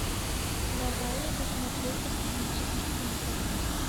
давай я посмотрю сценический синдром